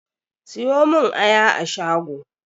Siyo mun aya a shago!